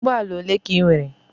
Ụgbọala ole ka I nwere?